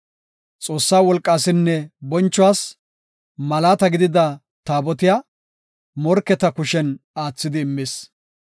Xoossa wolqaasinne bonchuwas malaata gidida Taabotiya morketa kushen aathidi immis.